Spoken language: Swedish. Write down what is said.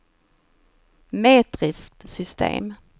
metriskt system